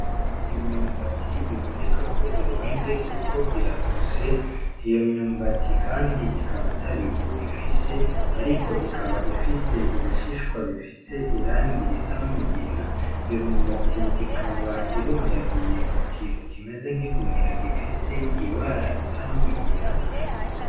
Imyumbati biboneka ko ironze, kuko iratose iyo myumbati, kandi ikaba ata bivu ifise, ariko ikaba ifise ibishishwa bifise irangi risa n’umugina iyo myumbati ikaba irundagiye ku kintu kimeze nk'igunira gifise ibara risa n’umugina .